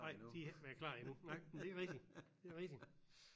Nej de har ikke været klar endnu nej men det er rigtigt det er rigtigt